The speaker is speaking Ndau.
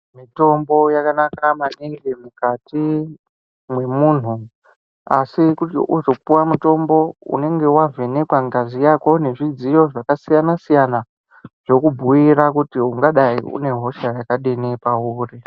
Mitombo yakanaka maningi mukati mwemuntu, asi kuti uzopuwa mutombo, unenge wavhenekwa ngazi yako nezvidziyo zvakasiyana-siyana, zvokubhuyira kuti ungadayi unehosha yakadini pauri.